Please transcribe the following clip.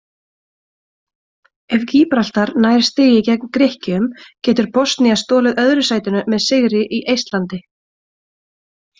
Ef Gíbraltar nær stigi gegn Grikkjum getur Bosnía stolið öðru sætinu með sigri í Eistlandi.